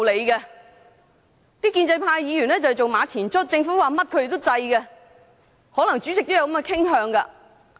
建制派議員都是馬前卒，政府說甚麼他們都贊成，可能主席也有這種傾向。